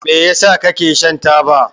Me yasa kake shan taba?